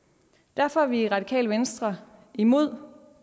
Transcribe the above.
derfor er vi i radikale venstre imod